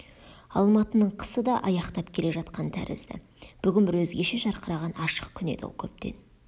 алматының қысы да аяқтап келе жатқан тәрізді бүгін бір өзгеше жарқыраған ашық күн еді ол көптен